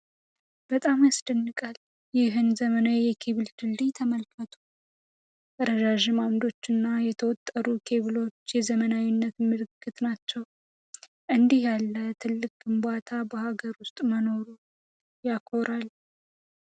በጣም ያስደንቃል! ይህን ዘመናዊ የኬብል ድልድይ ተመልከቱ! ረዣዥም ዓምዶቹና የተወጠሩ ኬብሎቹ የዘመናዊነት ምልክት ናቸው! እንዲህ ያለ ትልቅ ግንባታ በሀገር ውስጥ መኖሩ ያኮራል!